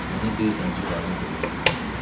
Mənə bir zənci qadın qulluq eləyirdi.